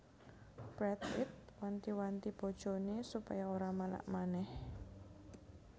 Brad Pitt wanti wanti bojone supaya ora manak maneh